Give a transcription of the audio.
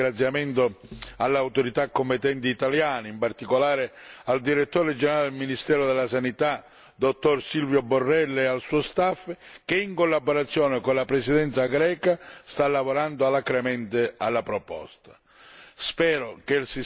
Permettetemi un doveroso ringraziamento alle autorità competenti italiane, in particolare al direttore generale presso il ministero della Salute, dott. Silvio Borrello, e al suo staff che, in collaborazione con la Presidenza greca, sta lavorando alacremente alla proposta.